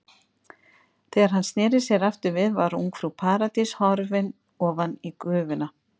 Þegar hann sneri sér aftur við var ungfrú Paradís horfin ofan í gufuna.